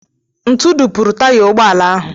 Ntụ dupuru taya ụgbọala ahụ.